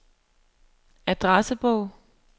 adressebog